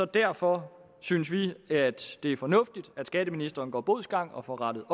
derfor synes vi at det er fornuftigt at skatteministeren går bodsgang og får rettet